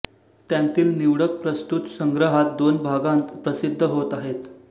त्यांतील निवडक प्रस्तुत संग्रहात दोन भागांत प्रसिद्ध होत आहेत